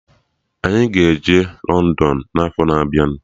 Anyị ga-eje London n'afọ na abịa